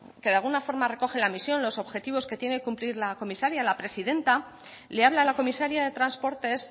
que de alguna forma recoge la misión los objetivos que tiene que cumplir la comisaria la presidenta le habla a la comisaria de transportes